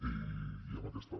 i amb aquesta